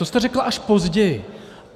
To jste řekl až později.